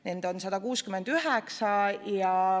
Neid on 169.